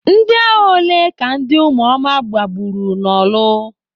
Ndịagha ole ka ndị ụmụoma gbagburu n'orlu?